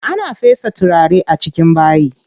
Ana fesa turare a cikin bayi.